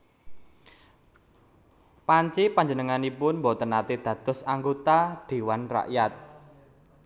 Panci panjenenganipun boten naté dados anggota Dhéwan Rakyat